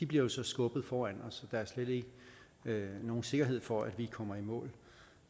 bliver skubbet foran os der er slet ikke nogen sikkerhed for at vi kommer i mål